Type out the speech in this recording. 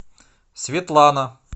светлана